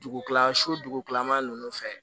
Dugu kila su dugutilama nunnu fɛ